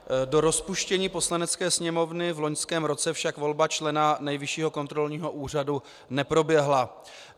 Do rozpuštění Poslanecké sněmovny v loňském roce však volba člena Nejvyššího kontrolního úřadu neproběhla.